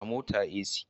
A motar AC